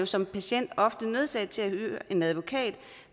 som patient ofte nødsaget til at hyre en advokat